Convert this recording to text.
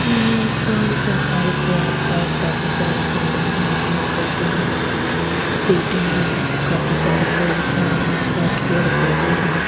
ये पार्क है पार्क के आसपास काफी सारी बिल्डिंग है पेड़-पौधे हैं सीटें हैं काफी सारे लोग हैं आसपास पेड़ पौधे हैं.